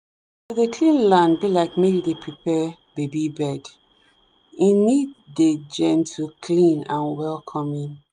to dey clean land be like make you dey prepare baby bed e need dey gentleclean and welcoming.